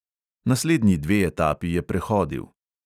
Naslednji dve etapi je prehodil.